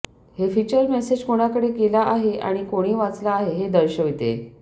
हे feature message कोणाकडे गेला आहे आणि कोणी वाचला आहे हे दर्शविते